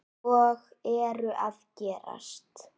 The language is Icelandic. Og eru að gerast.